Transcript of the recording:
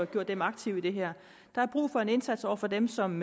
gjort dem aktive i det her der er brug for en indsats over for dem som